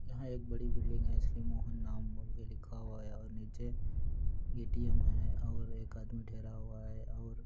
यहाँ एक बड़ी बिल्डिंग है श्री मोहन नाम लिखा हुआ है